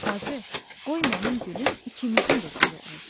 Bacı, qoy mənim gülüm ikimizin də gülü olsun.